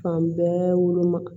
Fan bɛɛ woloma